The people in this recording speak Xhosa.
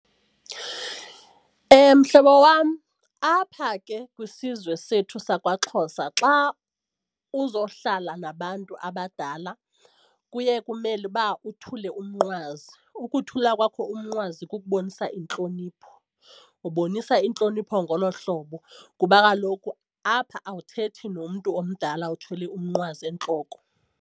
Mhlobo wam, apha ke kwisizwe sethu sakwaXhosa xa uzohlala nabantu abadala kuye kumele uba uthule umnqwazi. Ukuthula kwakho umnqwazi kukubonisa intlonipho, ubonisa intlonipho ngolo hlobo kuba kaloku apha awuthethi nomntu omdala uthwele umnqwazi entloko.